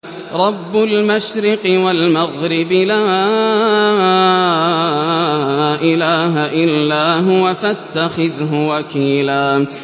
رَّبُّ الْمَشْرِقِ وَالْمَغْرِبِ لَا إِلَٰهَ إِلَّا هُوَ فَاتَّخِذْهُ وَكِيلًا